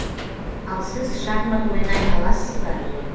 ал сіз шахмат ойнай аласыз ба